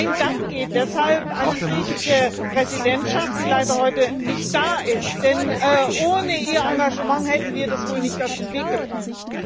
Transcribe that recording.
Mein Dank geht deshalb an die griechische Präsidentschaft, die leider heute nicht da ist, denn ohne ihr Engagement hätten wir das wohl nicht auf den Weg gebracht.